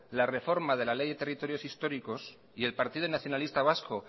la reforma de la ley de territorios históricos y el partido nacionalista vasco